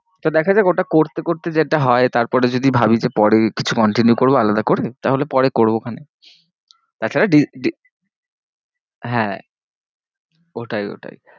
তো দেখা যাক ওটা করতে করতে যেটা হয়ে তারপরে যদি ভাবি যে পরে কিছু continue করবো আলাদা করে তাহলে পরে রবো ক্ষনে তা ছাড়া দি~ দি~ হ্যাঁ ওইটাই ওইটাই